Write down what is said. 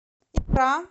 икра